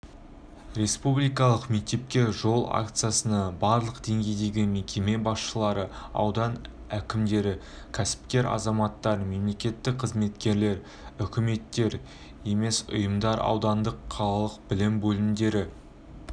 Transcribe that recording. республикалық мектепке жол акциясына барлық деңгейдегі мекеме басшылары аудан әкімдері кәсіпкер азаматтар мемлекеттік қызметкерлер үкіметтік емес ұйымдар аудандық қалалық білім бөлімдері